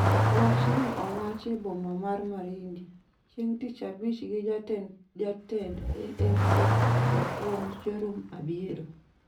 Wachno owach e boma mar Marindi, chieng' tich abich gi Jatend Jatend AFC-Jopuonj, Jorum Abiero,